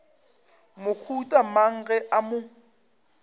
mohuta mang ge a mo